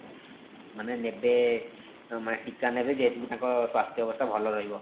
ମାନେ ନେବେ ମାନେ ଟୀକା ନେବେ ଯେମିତି କି ତାଙ୍କ ସ୍ୱାସ୍ଥ୍ୟ ଅବସ୍ଥା ଭଲ ରହିବ